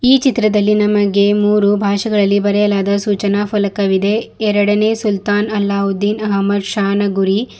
ಈ ಚಿತ್ರದಲ್ಲಿ ನಮಗೆ ಮೂರು ಭಾಷೆಗಳಲ್ಲಿ ಬರೆಯಲಾದ ಸೂಚನಾಫಲಕವಿದೆ ಎರಡನೇ ಸುಲ್ತಾನ್ ಅಲ್ಲಹುದ್ದೀನ್ ಅಹ್ಮದ್ ಶಾನ ಗುರಿ.